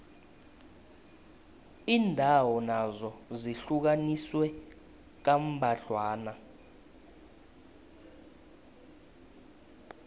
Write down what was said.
iindawo nazo zihlukaniswe kambadlwana